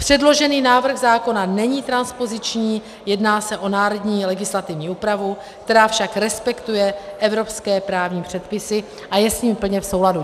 Předložený návrh zákona není transpoziční, jedná se o národní legislativní úpravu, která však respektuje evropské právní předpisy a je s nimi plně v souladu.